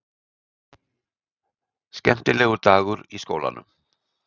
Skemmtilegur dagur í skólanum!